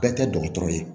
Bɛɛ tɛ dɔgɔtɔrɔ ye